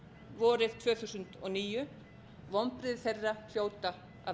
vorið tvö þúsund og níu vonbrigði þeirra hljóta að